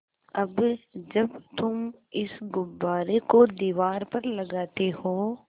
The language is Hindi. अब जब तुम इस गुब्बारे को दीवार पर लगाते हो